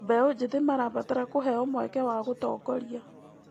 Mbeũ njĩthĩ marabatara kũheo mweke wa gũtongoria.